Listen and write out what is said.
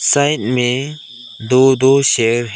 Side में दो दो शेर हैं।